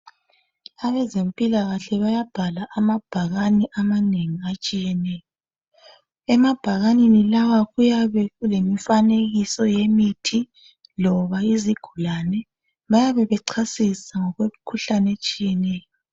Abezempilakahle bayabhala amabhakane amanengi atshiyeneyo emabhakaneni lawa kuyabe kulemifanekiso yemithi loba izigulane bayabe bechasisa ngokwemikhuhlane etshiyeneyo.